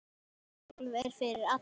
Golf er fyrir alla